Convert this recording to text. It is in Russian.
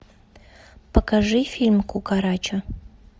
покажи фильм кукарача